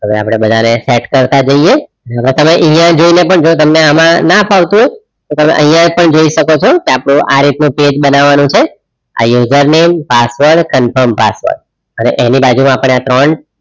હવે આપણે બધાને સેટ કરતે જૈયે હવે તમે અહિયા જઈને પણ તમને ના ફાવતું હોય તો તમે અહિયા પણ જોઈ શકો છો તો આપડે આ રીતનું check બનવાનું છે આ user name password confirm password અને એની બાજુમાં આપણે આ ત્રણ